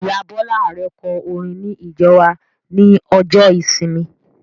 Ìyá Bọla Arẹ kọ orin ní ìjọ wa ní ọjọ ìsinmi